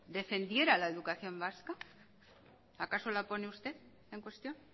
defendiera la educación vasca acaso la pone usted en cuestión